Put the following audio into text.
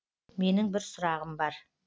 менің бір сұрағым бар